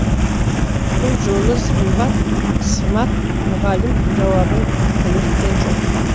бұл жолы сымат мұғалім жауабын кідірткен жоқ